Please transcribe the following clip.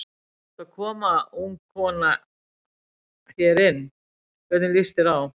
Þú ert að koma ung kona hérna inn, hvernig líst þér á?